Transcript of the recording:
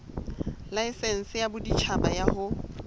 laesense ya boditjhaba ya ho